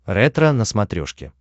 ретро на смотрешке